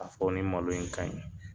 A fɔ nin malo in ka ɲi.